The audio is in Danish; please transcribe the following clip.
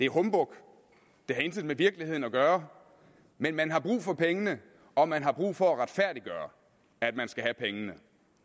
humbug det har intet med virkeligheden at gøre men man har brug for pengene og man har brug for at retfærdiggøre at man skal have pengene